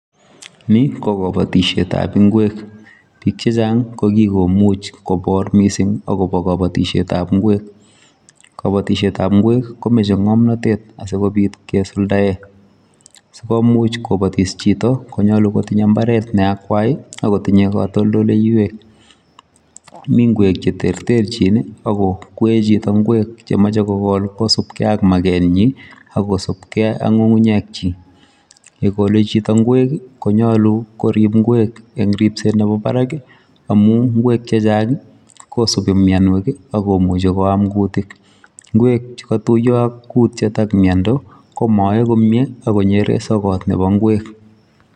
Ni ko kabatisyeet ab Ngweek ,biik che chaang ko kikomuuch koboreen kabatisyeet ab Ngweek kabatisyeet ab Ngweek komachei ngamnatet asikomuuch kosuldaen, sikomuuch kobatis chitoo konyaluu kotinyei mbaret ne akwai kotinyei katoltoleiweek Mii ngweek che terterjiin ako kwae chito ngweek che machei kogol kosupgei ak market nyiin ak kosupkei ak ngungunyeek kyiik ,ye kole chitoo ngweek konyoluu koriib Ngweek eng ripset nebo barak ii amuun Ngweek che chaang ii kosubii mianweek ak komuchei koyaam kutiik , ngweek chu katuyaa ak kutiet ak miando ko Mae komyei akonyeren sokoot nebo ngweek.